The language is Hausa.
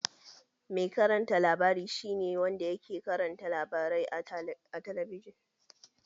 Mai karanta labari shi ne wanda ke karanta labarai a talabijin